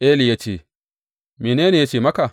Eli ya ce, mene ne ya ce maka?